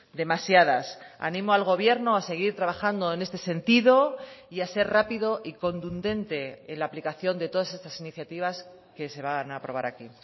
demasiadas animo al gobierno a seguir trabajando en este sentido y a ser rápido y contundente en la aplicación de todas estas iniciativas que se van a aprobar aquí